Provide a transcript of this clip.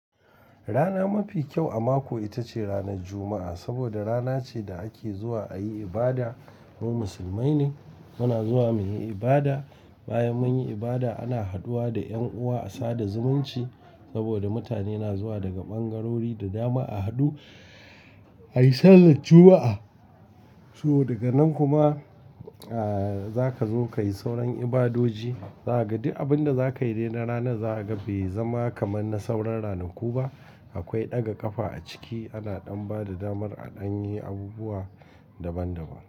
Rana mafi kyau a mako ita ce ranar Juma'a. Saboda rana ce da ake zuwa ayi ibada. Mu musulmai ne muna zuwa muyi ibada. Bayan munyi ibada ana haduwa da 'yan uwa a sada zumunci. Saboda mutane na zuwa daga ɓangarori da dama a hadu a yi sallan Juma'a. So daga nan kuma aaa zaka zo kayi sauran ibadoji. Za kaga duk abin da zaka yi dai na rana za ka ga bai zama kamar na sauran rananku ba. Akwai ɗaga ƙafa a ciki, ana ɗan ba da damar a ɗan yi abubuwa daban daban.